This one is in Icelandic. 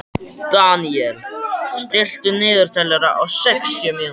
Daniel, stilltu niðurteljara á sextíu mínútur.